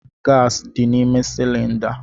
Gasi dị n'ime cylinder.